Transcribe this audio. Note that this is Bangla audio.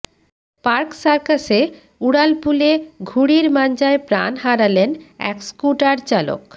পার্ক সার্কাসে উড়ালপুলে ঘুড়ির মাঞ্জায় প্রাণ হারালেন এক স্কুটার চালক